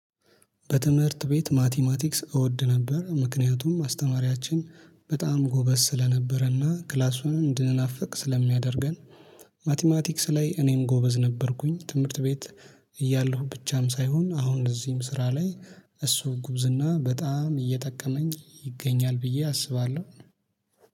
በትምህርት ቤት ማቲማቲክስ እወድ ነበር ምክንያቱም አስተማሪያችን በጣም ጎበዝ ስለነበረና ክላሱን እንድንናፍቅ ስለሚያደርገን። ማቲማቲክስ ላይ እኔም ጎበዝ ነበርኩኝ ትምህርት ቤት እያለሁ ብቻም ሳይሆን አሁን እዚህም ስራ ላይ እሱ ጉብዝና በጣም እየጠቀመኝ ይገኛል። ብዬ አስባለሁ